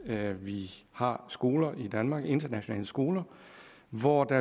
at vi har skoler i danmark internationale skoler hvor der